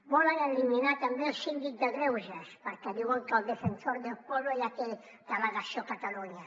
volen eliminar també el síndic de greuges perquè diuen que el defensor del pueblo ja té delegació a catalunya